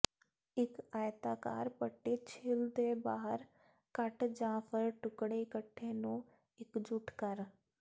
ਇੱਕ ਆਇਤਾਕਾਰ ਪੱਟੀ ਛਿੱਲ ਦੇ ਬਾਹਰ ਕੱਟ ਜ ਫਰ ਟੁਕੜੇ ਇਕੱਠੇ ਨੂੰ ਇਕਜੁੱਟ ਕਰ